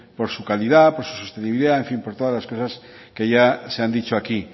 por su calidad por su sostenibilidad en fin por todas las cosas que ya se han dicho aquí